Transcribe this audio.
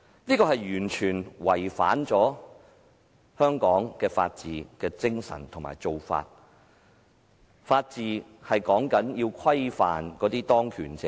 這完全違反了香港的法治精神和一貫做法，因為法治是要規範當權者。